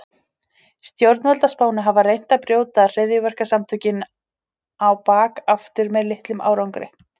Snjórinn var úr vatni en ekki koltvíildi.